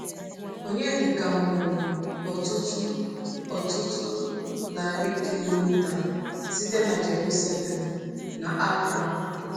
Onyedịka mụrụ ọtụtụ ọtụtụ narị kilomita site n’Jerusalem, n’Accra.